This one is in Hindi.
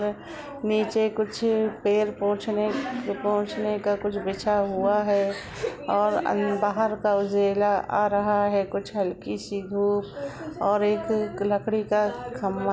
आ नीचे कुछ पैर पोछने- पोछने का कुछ बिछा हुआ है और अन्न बाहर का उजेला आ रहा है और कुछ हलकी सी धुप और एक लकड़ी का खम्बा --